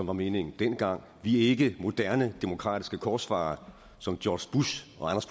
var meningen dengang vi er ikke moderne demokratiske korsfarere som george bush